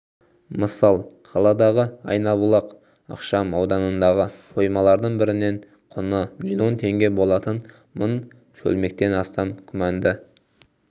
мысал қаладағы айнабұлақ ықшам ауданындағы қоймалардың бірінен құны миллион теңге болатын мың шөлмектен астам күмәнді